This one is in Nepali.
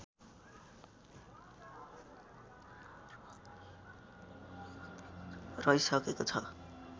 रहिसकेको छ